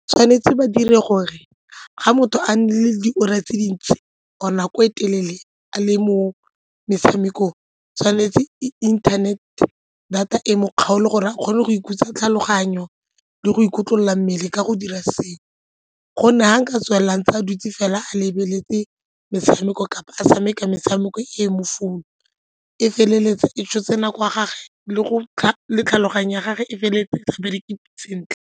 Tshwanetse ba dire gore ga motho a nne le diura tse dintsi or-e nako e telele a le mo metshamekong tshwanetse inthanete data e mo kgaole gore a kgone go ikhutsa tlhaloganyo le go ikotlolola mmele ka go dira sengwe, gonne ga nka tswelela ntse a dutse fela a lebeletse metshameko kapa a tshameka metshameko e mo phone e feleletsa e tshotse nako ya gagwe le go le tlhaloganyo ya gage e feleletse e sa bereke sentle.